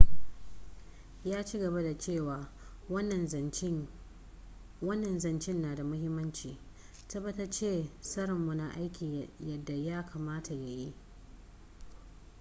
ya ci gaba da cewa wannan zancen na da muhimmanci. tabbatace tsarinmu na aiki yadda ya kamata ya yi.